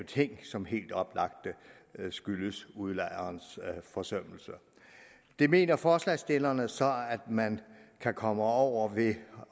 ting som helt oplagt skyldes udlejerens forsømmelse det mener forslagsstillerne så at man kan komme over ved